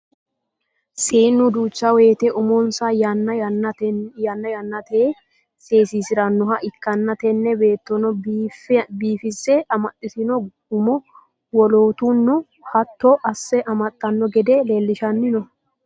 Seennu duucha woyiite umonsa yanna yannateyi seesisiranoha ikkanna tini beettono biifese amaxitino umo wolootuno hatto asse amaxxano gede leellishanni no.